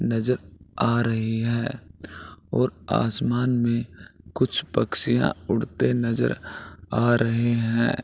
नजर आ रही है और आसमान में कुछ पक्षिया उड़ते नजर आ रहे है।